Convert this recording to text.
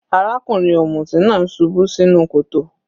Arákùnrin ọ̀mùtí náà subú sínú kòtò.